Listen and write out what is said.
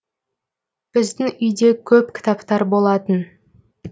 біздің үйде көп кітаптар болатын